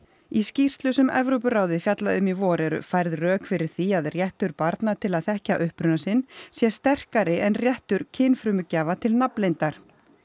í skýrslu sem Evrópuráðið fjallaði um í vor eru færð rök fyrir því að réttur barna til að þekkja uppruna sinn sé sterkari en réttur kynfrumugjafa til nafnleyndar